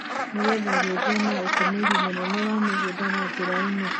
nĩ getha gwĩthema ũtũmĩri mũnene wa mũgũnda. Na njĩra ĩno,